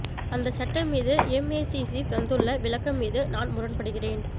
அந்தச் சட்டம் மீது எம்ஏசிசி தந்துள்ள விளக்கம் மீது நான் முரண்படுகிறேன்